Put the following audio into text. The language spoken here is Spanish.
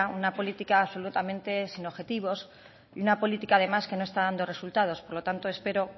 una política absolutamente sin objetivos y una política además que no está dando resultados por lo tanto espero